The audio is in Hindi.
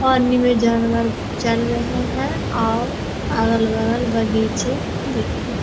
पानी में जानवर चल रहे हैं और अगल-बगल बगीचे दिख रहे --